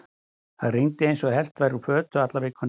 Það rigndi eins og hellt væri úr fötu alla vikuna.